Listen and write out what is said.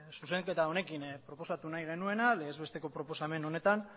zuzenketa honekin proposatu nahi genuena legez besteko proposamen honetan